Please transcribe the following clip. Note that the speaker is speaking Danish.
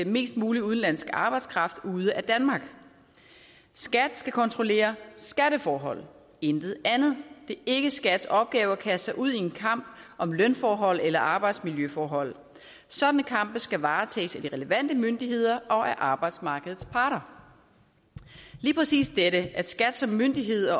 mest mulig udenlandsk arbejdskraft ude af danmark skat skal kontrollere skatteforhold intet andet det er ikke skats opgave at kaste sig ud i en kamp om lønforhold eller arbejdsmiljøforhold sådanne kampe skal varetages af de relevante myndigheder og af arbejdsmarkedets parter lige præcis dette at skat som myndighed